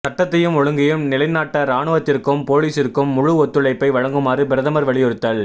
சட்டத்தையும் ஒழுங்கையும் நிலைநாட்ட இராணுவத்திற்கும் பொலிஸிற்கும் முழு ஒத்துழைப்பை வழங்குமாறு பிரதமர் வலியுறுத்தல்